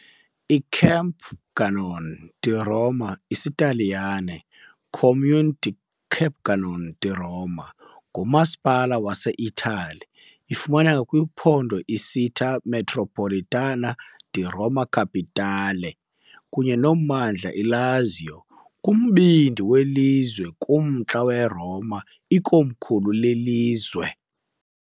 ICampagnano di Roma, isiTaliyane, Comune di Campagnano di Roma, ngumasipala waseItali. Ifumaneka kwiphondo Città metropolitana di Roma Capitale kunye nommandla Lazio, kumbindi welizwe, km kumntla weRoma, ikomkhulu lelizwe.